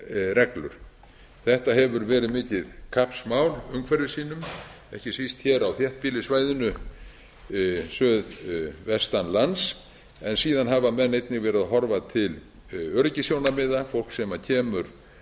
reglur þetta hefur verið mikið kappsmál umhverfissinnum ekki síst hér á þéttbýlissvæðinu suðvestan lands en síðan hafa menn einnig verið að horfa til öryggissjónarmiða fólk sem kemur